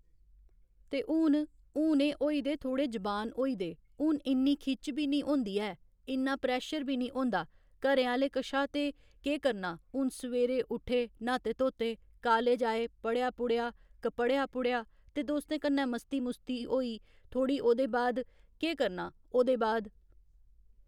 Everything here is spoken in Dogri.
ते हुन हून एह् होई दे थोह्‌ड़े जबान होई दे हून इन्नी खिच्च बी नेईं होंदी ऐ इन्ना प्रैशर बी निं होंदा घरे आह्‌ले कशा ते केह् करना हून सवेरे उट्ठे न्हाते धोते कालेज आए पढ़ेआ पुढ़ेआ क पढ़ेआ पुढ़ेआ ते दोस्तें कन्नै मस्ती मुस्ती होई थोह्ड़ी ओह्दे बाद केह् करना ओह्दे बाद